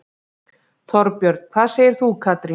Þorbjörn: Hvað segir þú Katrín?